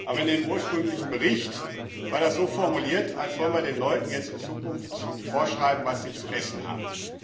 Aber in dem ursprünglichen Bericht war das so formuliert, als wollten wir den Leuten jetzt in Zukunft vorschreiben, was sie zu essen haben.